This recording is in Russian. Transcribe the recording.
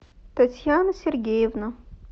татьяна сергеевна